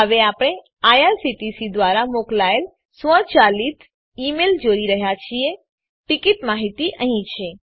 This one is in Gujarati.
હવે આપણે આઇઆરસીટીસી દ્વારા મોકલાયેલ સ્વયંચાલિત ઈ મેઈલ જોઈ રહ્યા છીએ ટીકીટ માહિતી અહીં છે